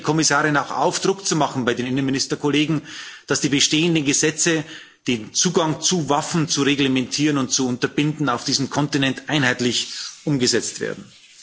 Und ich fordere die Kommissarin auch auf, Druck zu machen bei den Innenministerkollegen, dass die bestehenden Gesetze, den Zugang zu Waffen zu reglementieren und zu unterbinden, auf diesem Kontinent einheitlich umgesetzt werden.